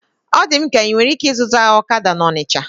Ọ dị m ka inwere ike ịzụta ọkada na Ọnisha